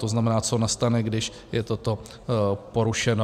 To znamená, co nastane, když je toto porušeno.